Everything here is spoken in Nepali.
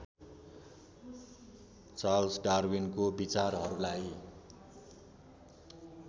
चार्ल्स डार्विनको विचारहरूलाई